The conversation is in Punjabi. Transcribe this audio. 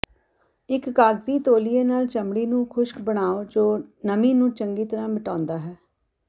ਇਕ ਕਾਗਜ਼ੀ ਤੌਲੀਏ ਨਾਲ ਚਮੜੀ ਨੂੰ ਖੁਸ਼ਕ ਬਣਾਓ ਜੋ ਨਮੀ ਨੂੰ ਚੰਗੀ ਤਰ੍ਹਾਂ ਮਿਟਾਉਂਦਾ ਹੈ